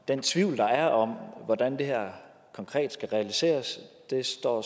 den tvivl der er om hvordan det her konkret skal realiseres står